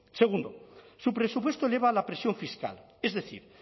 segundo su presupuesto eleva la presión fiscal es decir